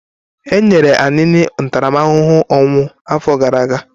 E nyere Anini ntaramahụhụ ọnwụ afọ gara aga?